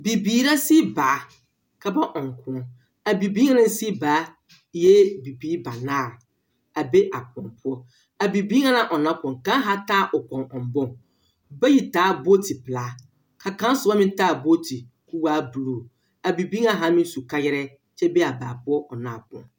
Bibiir ra sig baa, ka ba ɔŋ kõɔ. A bibiiri ŋa naŋ sig baa eɛ bibiiri banaar, a be a kõɔ poɔ. A bibiiri ŋa naŋ ɔnnɔ kõɔ Kaŋ haa taa o kɔŋ ɔŋ bone. Bayi taa bootipelaa ka kaŋ soba meŋ taa a booti ko waa buluu. A bibiir ŋa haa meŋ su kaayarɛɛ kyɛ be a baa poɔ a ɔnnɔ a kõɔ.